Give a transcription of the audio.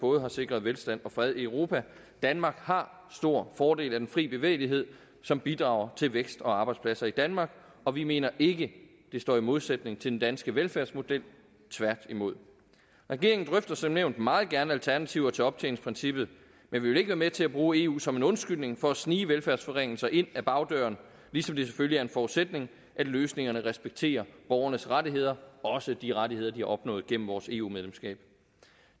både har sikret velstand og fred i europa danmark har stor fordel af den frie bevægelighed som bidrager til vækst og arbejdspladser i danmark og vi mener ikke det står i modsætning til den danske velfærdsmodel tværtimod regeringen drøfter som nævnt meget gerne alternativer til optjeningsprincippet men vi vil ikke være med til at bruge eu som en undskyldning for at snige velfærdsforringelser ind ad bagdøren ligesom det selvfølgelig er en forudsætning at løsningerne respekterer borgernes rettigheder også de rettigheder de har opnået gennem vores eu medlemskab